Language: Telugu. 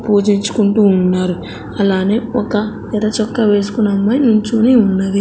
పూజించుకుంటూ ఉన్నారు అలానే ఒక ఎర్ర చొక్క వేసుకున్న అమ్మాయి నించొని ఉన్నది.